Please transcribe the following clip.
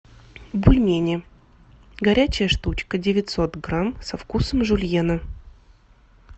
бульмени горячая штучка девятьсот грамм со вкусом жульена